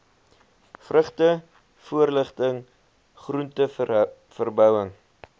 vrugte voorligting groenteverbouing